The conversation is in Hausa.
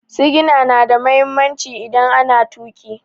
Sigina na da mahimmanci idan ana tuƙi.